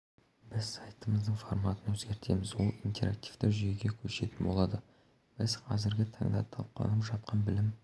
біз сайтымыздың форматын өзгертеміз ол интерактивті жүйеге көшетін болады біз қазіргі таңда талқыланып жатқан білім